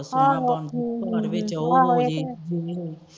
ਆਹੋ ਇਹ ਤੇ ਹੈ